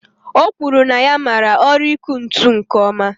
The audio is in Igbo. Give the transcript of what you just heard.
O kwuru na ya mara ọrụ iku ntụ nke oma